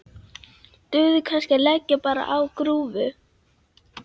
Dugði kannski að leggjast bara á grúfu?